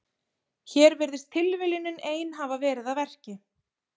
Hér virðist tilviljunin ein hafa verið að verki.